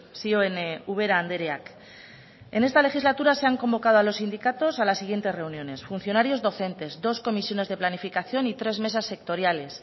zioen ubera andreak en esta legislatura se han convocado a los sindicatos a las siguientes reuniones funcionarios docentes dos comisiones de planificación y tres mesas sectoriales